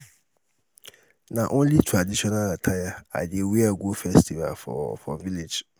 na only traditional attire i dey wear go festival for for village.